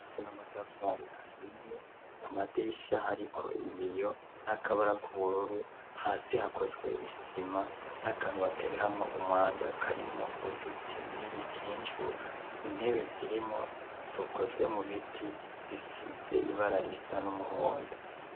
N'amatarafari ahiye ku madirisha hariko ibiyo n'akabara k'ubururu hasi hakozwe isima n'akantu batereramo umwanda karimwo uduti n'ibikinju ,intebe zirimwo zikozwe mu biti zisize ibara risa n'umuhondo.